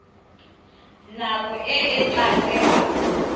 nako e e tla tsewang